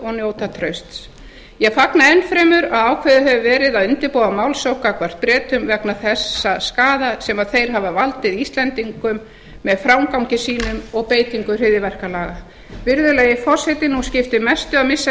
njóta trausts ég fagna enn fremur að ákveðið hefur verið að undirbúa málssókn gagnvart bretum vegna þess skaða sem þeir hafa valdið íslendingum með framgangi sínum og beitingu hryðjuverkalaga virðulegi forseti nú skiptir mestu að missa